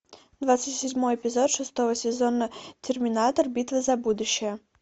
двадцать седьмой эпизод шестого сезона терминатор битва за будущее